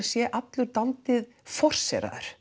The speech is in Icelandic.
sé allur dálítið